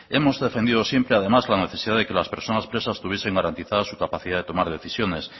hemos defendido siempre además la necesidad de que las personas presas tuviesen garantizada su capacidad de tomar decisiones